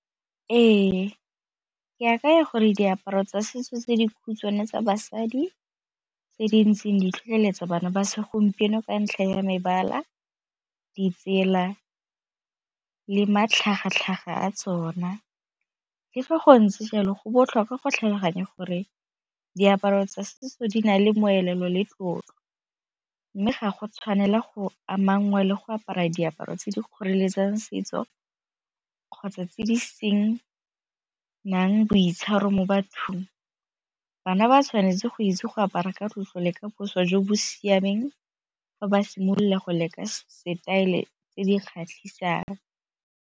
Ee, ke akanya gore diaparo tsa setso tse di khutshwane tsa basadi tse di ntseng ditlhotlheletsa bana ba segompieno ka ntlha ya mebala, ditsela le matlhagatlhaga a tsona, le fa go ntse jalo go botlhokwa go tlhaloganya gore diaparo tsa setso di na le molelo le tlotlo mme ga go tshwanela go ama ngwe le go apara diaparo tse di kgoreletsang setso kgotsa tse di seng nang boitshwaro mo bathong. Bana ba tshwanetse go itse go apara ka tloso le ka boswa jo bo siameng fa ba simolola go leka style tse di kgatlhisang.